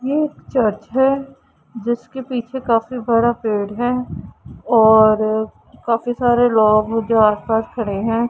ये एक चर्च है जिसके पीछे काफी बड़ा पेड़ है और काफी सारे लोग हैं जो आस पास खड़े हैं।